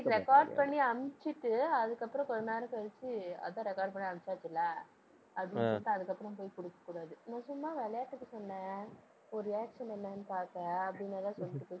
record பண்ணி அனுப்பிச்சிட்டு அதுக்கப்புறம் கொஞ்ச நேரம் கழிச்சு அதான் record பண்ணி அனுப்பிச்சாச்சுல்ல அப்படினு சொல்லிட்டு அதுக்கப்புறம் போய் குடுக்கக்கூடாது நான் சும்மா விளையாட்டுக்கு சொன்னேன் உன் reaction என்னன்னு பார்க்க அப்படின்னு எதாவது சொல்லிட்டு போய்